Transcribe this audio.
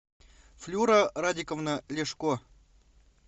флюра радиковна ляшко